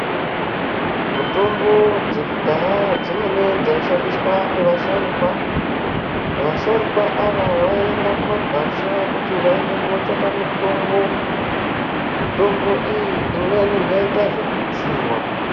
Mutombo dzekudhaya dzimweni dzaishandiswa ngevasharukwa vasharukwa ava vaienda kumagwasha kuti vandotsvaka mutombo mutombo iyi imwe yaitwa zvekutsiwa.